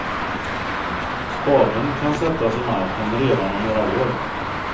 Spaden kan sättas i marken redan om några år.